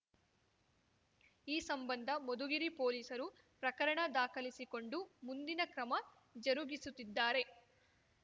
ಈ ಸಂಬಂಧ ಮಧುಗಿರಿ ಪೊಲೀಸರು ಪ್ರಕರಣ ದಾಖಲಿಸಿಕೊಂಡು ಮುಂದಿನ ಕ್ರಮ ಜರುಗಿಸುತ್ತಿದ್ದಾರೆ